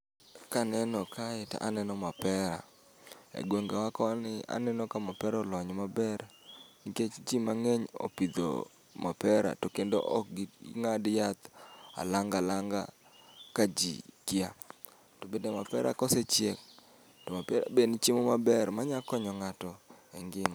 Kaneno kae to aneno mapera. E gwenge wa koni aneno ka mapera olony maber nikech ji mang'eny opidho mapera to kendo ok ging'ad yath alang alanga kaji kia. To bende mapera ka osechiek to be en chiemo maber ma nyalo konyo ng'ato e ngima.